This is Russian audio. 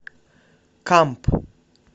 камп